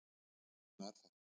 En svona er þetta